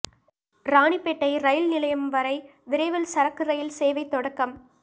ராணிப்பேட்டை ரயில் நிலையம் வரை விரைவில் சரக்கு ரயில் சேவை தொடக்கம்